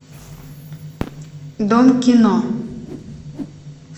дом кино